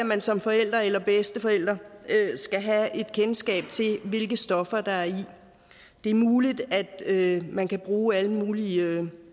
man som forælder eller bedsteforælder skal have et kendskab til hvilke stoffer der er i det det er muligt at man kan bruge alle mulige